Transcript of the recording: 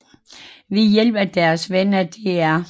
Ved hjælp af deres venner Dr